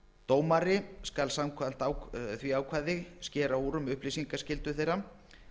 dómari skal samkvæmt því ákvæði skera úr um upplýsingaskyldu þeirra